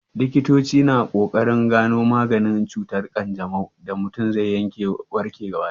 Likitoci na ƙoƙarin gano maganin cutar ƙanjamau da mutum zai warke gaba ɗaya.